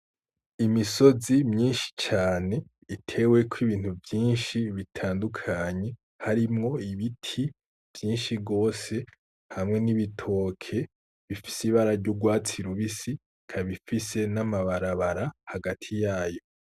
Imisozi myinshi cane iteweko Ibintu vyinshi bitandukanye, harimwo ibiti vyinshi gose hamwe n'ibitoke bifise Ibara ry'urwatsi rubisi ikaba ifise n'amabarabara hagati yayo.